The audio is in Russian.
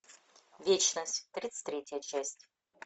вечность тридцать третья часть